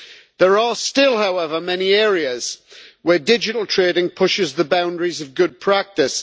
There are still, however, many areas where digital trading pushes the boundaries of good practice.